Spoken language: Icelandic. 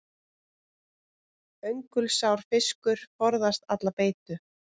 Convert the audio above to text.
Öngulsár fiskur forðast alla beitu.